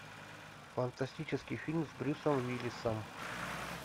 фантастический фильм с брюсом уиллисом